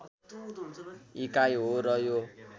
इकाइ हो र यो